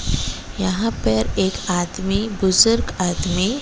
यहां पर एक आदमी बुजुर्ग आदमी --